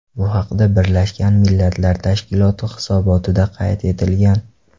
Bu haqda Birlashgan Millatlar Tashkiloti hisobotida qayd etilgan .